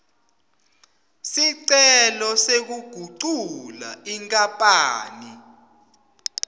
sicelo sekugucula inkapani